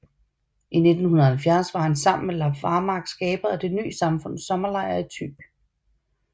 I 1970 var han sammen med Leif Varmark skaber af Det ny samfunds sommerlejr i Thy